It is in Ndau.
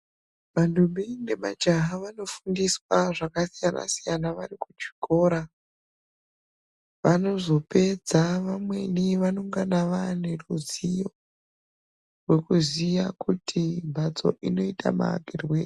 Ndombi nemajaya vanofundiswe zvakasiyana siyana vari kuchikora vanozopedza vamweni vaongana vaane ruziwo rwekuziwa kuti mbatso inota maakirwei.